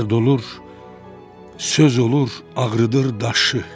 Dərd olur, söz olur, ağrıdır daşı.